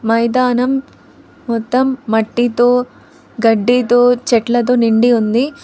మైదానం మొత్తం మట్టితో గడ్డితో చెట్లతో నిండి ఉంది.